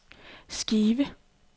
skive